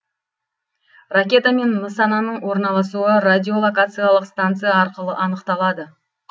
ракета мен нысананың орналасуы радиолокациялық станция арқылы анықталады